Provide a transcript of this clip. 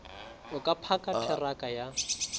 o ka phaka theraka ya